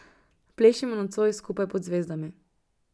Plešimo nocoj skupaj pod zvezdami.